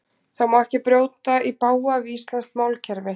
Það má ekki brjóta í bága við íslenskt málkerfi.